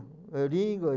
Eu ligo